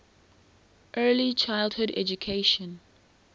early childhood education